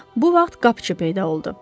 Bu vaxt qapıçı peyda oldu.